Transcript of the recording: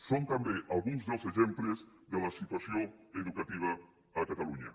són també alguns dels exemples de la situació educativa a catalunya